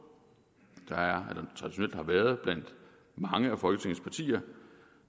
der er eller har været blandt mange af folketingets partier